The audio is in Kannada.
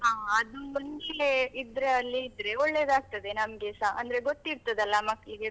ಹಾ ಅದು ನಮ್ಗೆ ಇದ್ರೆ ಅಲ್ಲೆ ಇದ್ರೆ ಒಳ್ಳೆದಾಗ್ತದೆ ನಮ್ಗೆಸ, ಅಂದ್ರೆ ಗೊತ್ತಿರ್ತದಲ್ಲ ಮಕ್ಳಿಗೆ.